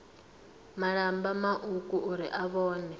malamba mauku uri na vhone